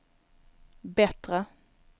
bättre